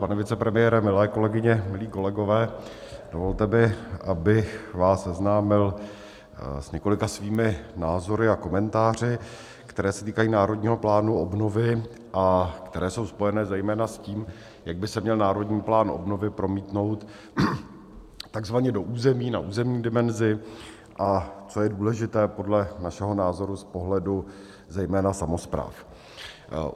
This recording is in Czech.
Pane vicepremiére, milé kolegyně, milí kolegové, dovolte mi, abych vás seznámil s několika svými názory a komentáři, které se týkají Národního plánu obnovy a které jsou spojeny zejména s tím, jak by se měl Národní plán obnovy promítnout takzvaně do území, na územní dimenzi, a co je důležité podle našeho názoru z pohledu zejména samospráv.